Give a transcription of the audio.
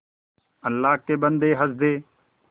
अल्लाह के बन्दे हंस दे